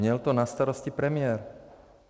Měl to na starosti premiér.